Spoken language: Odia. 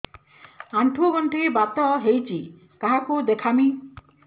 ଆଣ୍ଠୁ ଗଣ୍ଠି ବାତ ହେଇଚି କାହାକୁ ଦେଖାମି